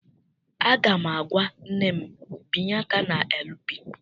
Aga m agwa nne m, binye aka na LP!